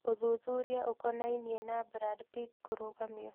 Ũthuthuria ũkonainĩĩ na Brad Pitt kũrũgamio